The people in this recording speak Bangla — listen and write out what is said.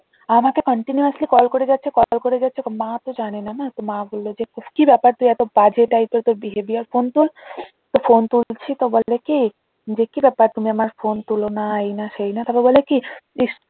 আমাকে continuously কল করে যাচ্ছে কল করে যাচ্ছে তো মা তো জানেনা না তো মা বলল যে কি ব্যাপার তোর এত বাজে type এর তোর behavior ফোন তোল তো ফোন তুলছি তো বলে কি যে কি ব্যাপার তুমি আমার ফোন তোলো না এই না সেই না তারপর বলে কি ইস